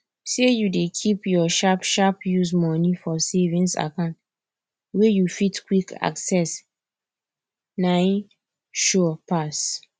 say you dey keep your sharpsharp use money for savings account wey you fit quick access nai sure pass